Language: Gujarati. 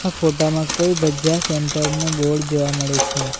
આ ફોટામાં કોઈ ભજીયા સેન્ટર નો બોર્ડ જોવા મળે છે.